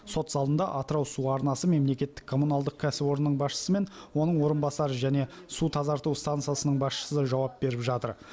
сот залында атырау су арнасы мемлекеттік коммуналдық кәсіпорнның басшысы мен оның орынбасары және су тазарту станциясының басшысы жауап беріп жатыр